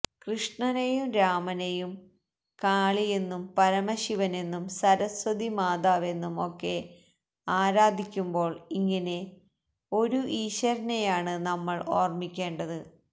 കൃഷ്ണനെന്നും രാമനെന്നും കാളിയെന്നും പരമശിവനെന്നും സരസ്വതി മാതാവെന്നും ഒക്കെ ആരാധിക്കുമ്പോള് ഇങ്ങിനെ ഒരു ഈശ്വരനെയാണ് നമ്മള് ഓര്മ്മിക്കേണ്ടത്